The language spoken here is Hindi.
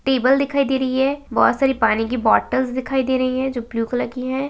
टेबल दिखाई दे रही है बहोत सारी पानी की बॉटल्स दिखाई दे रही है जो ब्लू कलर की है।